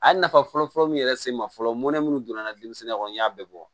A ye nafa fɔlɔ-fɔlɔ min yɛrɛ se ma fɔlɔ mɔnɛ minnu donna denmisɛnnin kɔnɔ n y'a bɛɛ bɔ